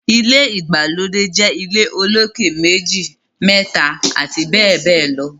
ilé ìgbàlódé jé ilé olokè meji, méta abbl